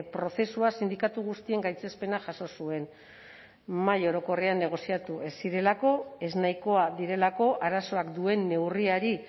prozesua sindikatu guztien gaitzespena jaso zuen mahai orokorrean negoziatu ez zirelako ez nahikoa direlako arazoak duen neurriari